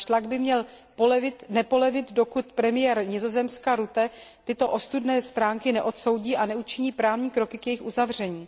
Náš tlak by neměl polevit, dokud premiér Nizozemska Rutte tyto ostudné stránky neodsoudí a neučiní právní kroky k jejich uzavření.